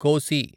కోసి